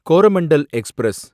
Coromandel express